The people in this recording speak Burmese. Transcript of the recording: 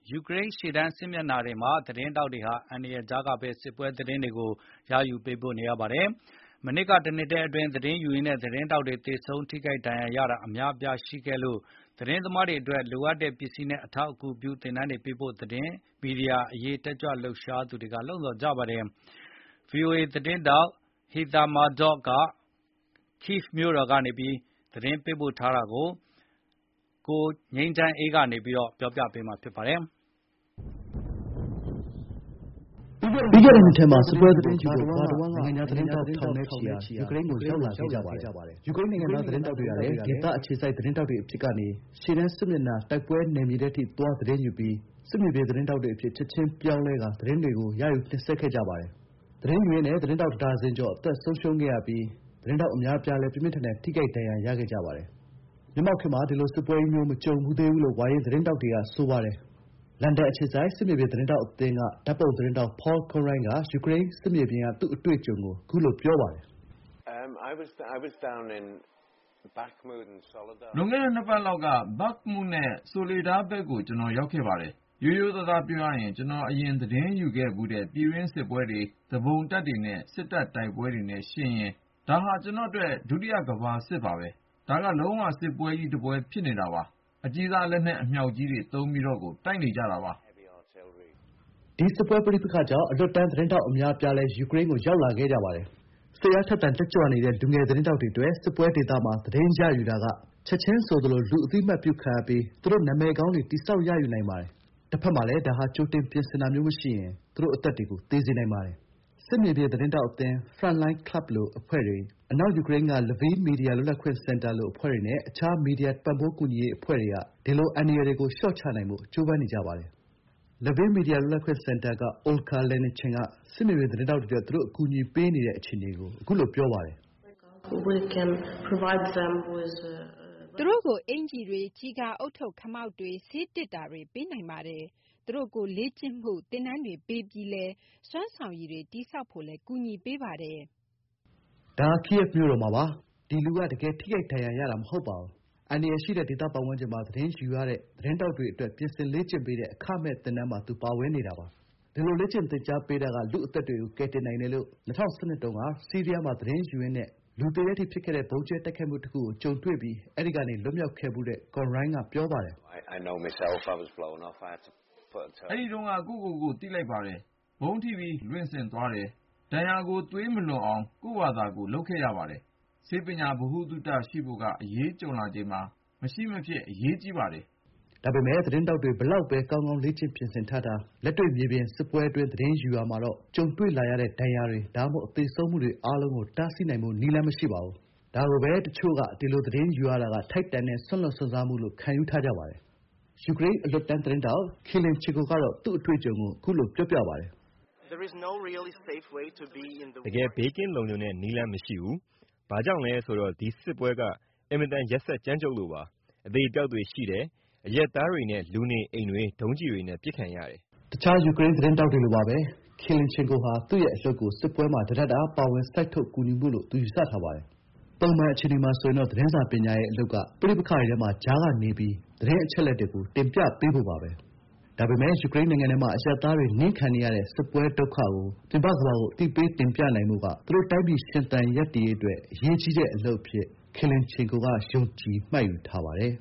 ယူကရိန်း ရှေ့တန်း စစ်မျက်နှာတွေမှာ သတင်းထောက်တွေဟာ အန္တရာယ်ကြားကပဲ စစ်ပွဲသတင်းတွေကို ရယူပေးပို့နေရပါတယ်။ မနှစ်တုန်းက တနှစ်အတွင်း သတင်းယူရင်းနဲ့ သတင်းထောက်တွေ သေဆုံးထိခိုက် ဒဏ်ရာရတာ အများအပြားရှိခဲ့လို့ သတင်းမားတွေအတွက် လိုအပ်တဲ့ ပစ္စည်းနဲ့ အထောက်အကူပြု သင်တန်းတွေ ပေးဖို့ သတင်းမီဒီယာအရေး လှုပ်ရှားတဲ့ အဖွဲ့တွေက လှုံ့ဆော်နေကြပါတယ်။ ဗွီအိုအေသတင်းထောက် Heather Murdock က Kyiv ကိယက်ဗ် မြို့တော် ၊ Lviv နဲ့ Donbas ဒေသ ရှေ့တန်း စစ်မြေပြင် တွေကနေ သတင်းပေးပို့ထားတာကို ကိုငြိမ်းချမ်းအေးက တင်ပြထားပါတယ်။ ပြီးခဲ့တဲ့ နှစ်ထဲမှာ စစ်ပွဲ သတင်းရယူဖို့ ကမ္ဘာတဝန်းက နိုင်ငံခြား သတင်းထောက် ထောင်နဲ့ချီဟာ ယူကရိန်းကို ရောက်လာခဲ့ကြပါတယ်။ ယူကရိန်းနိုင်ငံသား သတင်းထောက်တွေကလည်း ဒေသအခြေစိုက် သတင်းထောက်တွေ အဖြစ်ကနေ ရှေ့တန်းစစ်မျက်နှာ တိုက်ပွဲနယ်မြေထဲအထိသွားပြီး စစ်မြေပြင် သတင်းထောက်တွေအဖြစ် ချက်ချင်း ပြောင်းလဲကာ သတင်းတွေ ရယူ တင်ဆက်ခဲ့ကြပါတယ်။ သတင်းယူရင်းနဲ့ သတင်းထောက် တဒါဇင်ကျော် အသက်ဆုံးရှုံးခဲ့ရပြီး သတင်းထောက် အများအပြားလည်း ပြင်းပြင်းထန်ထန် ထိခိုက် ဒဏ်ရာရခဲ့ကြပါတယ်။ မျက်မှောက်ခေတ်မှာ ဒီလို စစ်ပွဲကြီးမျိုး မကြုံဖူးသေးဘူးလို့ ဝါရင့် သတင်းထောက်တွေက ဆိုကြပါတယ်။ လန်ဒန်အခြေစိုက် စစ်မြေပြင် သတင်းထောက်အသင်း ဓာတ်ပုံသတင်းထောက် ပေါလ်ကွန်ရွိုင်း Paul Conroy က သူ့အတွေ့အကြုံကို အခုလို ပြောပါတယ်။ “လွန်ခဲ့တဲ့ နှစ်ပတ်လောက်က Bakhmut နဲ့ Soledar ဘက်ကို ကျွန်တော် ရောက်ခဲ့တယ်၊ ရိုးရိုးသားသားပြောရရင် ကျွန်တော် အရင်က သတင်းယူဖူးတဲ့ ပြည်တွင်းစစ်ပွဲတွေ၊ သူပုန်တပ်နဲ့ စစ်တပ်တိုက်ပွဲ အဲဒါတွေနဲ့ ယှဉ်ကြည့်ရင် ဒါဟာ ကျွန်တော့်အတွက်တော့ ဒုတိယကမ္ဘာစစ်ပါပဲ။ ဒါက လုံးဝ စစ်ပွဲကြီး တပွဲဖြစ်နေတာပါ၊ အကြီးစား လက်နက် အမြောက်ကြီးတွေ သုံးပြီးကို တိုက်နေကြတာပါ။” ဒီ စစ်ပွဲ ပဋိပက္ခကြောင့် အလွတ်တန်းသတင်းထောက် အများအပြားလည်း ယူကရိန်းကို ရောက်လာခဲ့ကြပါတယ်။ စိတ်အားထက်သန်တက်ကြွနေတဲ့ လူငယ် သတင်းထောက်တွေ အတွက် စစ်ပွဲဒေသမှာ သတင်းယူရတာက ချက်ချင်းဆိုသလို လူအသိအမှတ်ပြုခံရပြီး သူတို့အတွက် နာမည်ကောင်း တည်ဆောက် ရယူနိုင်ပါတယ်။ တဖက်မှာလည်း ဒါဟာ ကြိုတင်ပြင်ဆင်တာမျိုးမရှိရင် သူ့တို့ အသက်တွေကို ဆုံးရှုံးသွားစေနိုင်ပါတယ်။ စစ်မြေပြင် သတင်းထောက်အသင်း Frontline Club လို အဖွဲ့တွေ၊ အနောက်ယူကရိန်းက Lviv မီဒီယာလွတ်လပ်ခွင့်စင်တာ (Lviv Press Freedom Center)လို အဖွဲ့တွေနဲ့ တခြားမီဒီယာပံ့ပိုးကူညီရေး အဖွဲ့တွေဟာ ဒီလို အန္တရာယ်တွေကို လျှော့ချနိုင်ဖို့ ကြိုးပမ်းနေကြပါတယ်။ Lviv မီဒီယာလွတ်လပ်ခွင့်စင်တာက အမျိုးသမီး အိုလဂါ လက်နင်ချစ် Olga Letnianchyk က စစ်မြေပြင် သတင်းထောက်တွေ အတွက် သူတို့ အကူအညီပေးနေတဲ့ အခြေအနေကို အခုလို ပြောပါတယ်။ “သူတို့ကို အင်္ကျီတွေ၊ ကျည်ကာဦးထုပ် ခမောက်တွေ၊ ဆေးသေတ္တာတွေ ပေးနိုင်ပါတယ်။ သူတို့ကို လေ့ကျင့်မှု သင်တန်းတွေ ပေးပြီးလည်း စွမ်းဆောင်ရည်တွေ တည်ဆောက်ဖို့ ကူညီပေးပါတယ်။” ကိယက်ဗ် မြို့တော်မှာပါ။ ဒီလူက တကယ် ထိခိုက်ဒဏ်ရာရတာ မဟုတ်ပါဘူး။ အန္တရာယ်ရှိတဲ့ ဒေသပတ်ဝန်းကျင်မှာ သတင်းယူရတဲ့ သတင်းထောက်တွေ အတွက် ပြင်ဆင် လေ့ကျင့်ပေးတဲ့ အခမဲ့ သင်တန်းမှာ သူပါဝင်နေတာပါ။ ဒီလို လေ့ကျင့်သင်ကြားပေးတာက လူ့အသက်တွေကို ကယ်တင်နိုင်တယ်လို့ ၂၀၁၂ တုန်းက ဆီးရီးယားမှာ သတင်းယူရင်းနဲ့ လူသေတဲ့ အထိ ဖြစ်ခဲ့တဲ့ ဗုံးကြဲတိုက်ခိုက်မှုတခုကို ကြုံခဲ့ရပြီး အဲဒီကနေ လွတ်မြောက်ခဲ့ဖူးသူ ကွန်ရွိုင်းက ပြောပါတယ်။ “အဲ့တုန်းက ကိုယ့်ကိုယ်ကို သိလိုက်တယ်၊ ဗုံးထိပြီး လွင့်ထွက်သွားတယ်။ ဒဏ်ရာကို သွေးမလွန်အောင် ကိုယ့်ဘာသာ လုပ်ခဲ့ရတယ်။ ဆေးပညာ ဗဟုသုတရှိဖို့က အရေးကြုံလာချိန်မှာ မရှိမဖြစ် လိုအပ်ပါတယ်။ ဒါက လူ့ အသက်ကို ကယ်နိုင်ပါတယ်။” ဒါပေမယ့် သတင်းထောက်တွေ ဘယ်လောက်ပဲ ကောင်းကောင်းလေ့ကျင့် ပြင်ဆင် ထားထား၊ လက်တွေ့ မြေပြင်စစ်ပွဲအတွင်း သတင်းယူရာမှာတော့ ကြုံတွေ့လာရတဲ့ ဒဏ်ရာတွေ ဒါမှမဟုတ် သေဆုံးမှုတွေ အားလုံးကို တားဆီးဖို့ နည်းလမ်းမရှိပါဘူး။ ဒါကိုပဲ တချို့က ဒီလို သတင်းရယူတာက ထိုက်တန်တဲ့ စွန့်လွှတ် စွန့်စားမှုလို့ ခံယူထားကြပါတယ်။ အလွတ်တန်းသတင်းထောက် ဒီမာခီလ်ချင်ကို Dima Khilchelko ကတော့ သူ့အတွေ့အကြုံကို ခုလို ပြောပါတယ်။ “စစ်ပွဲမှာ အထူးသဖြင့် ဒီစစ်ပွဲမှာ တကယ် ဘေးကင်းလုံခြုံတဲ့ နည်းလမ်းမရှိဘူး၊ ဘာကြောင့်လဲဆိုတော့ ဒီစစ်ပွဲက အင်မတန် ရက်စက် ကြမ်းကြုတ်လို့ပါ။ အသေအပျောက်တွေ ရှိတယ်၊ အရပ်သားတွေနဲ့ လူနေအိမ်တွေ ဒုံးကျည်တွေနဲ့ ပစ်ခံရတယ်။” တခြား ယူကရိန်း သတင်းသမားတွေလိုပါပဲ ခီလ်ချင်ကို Khilchelko ဟာ သူ့ရဲ့အလုပ်ကို စစ်ပွဲမှာ တတပ်တအား ပါဝင်စိုက်ထုက် ကူညီမှုလို့ သူ ယူဆထားပါတယ်။ ပုံမှန် အခြေအနေမှာဆိုရင်တော့ သတင်းစာပညာရဲ့ အလုပ်က ပဋိပက္ခတွေထဲမှာ ကြားကနေပြီး သတင်းအချက်အလက်တွေကို တင်ပြပေးဖို့ပါပဲ။ ဒါပေမယ့် ယူကရိန်းနိုင်ငံထဲမှာ အရပ်သားတွေ နင်းခံနေရတဲ့ စစ်ပွဲ ဒုက္ခတွေကို ပြင်ပကမ္ဘာကို အသိပေးတင်ပြနိုင်ဖို့က သူတို့ “တိုင်းပြည် ရှင်သန်ရပ်တည်ရေး” အတွက် အရေးကြီးတဲ့ အလုပ်အဖြစ် ခီလ်ချင်ကို Khilchelko က ယုံကြည်မှတ်ယူထားပါတယ်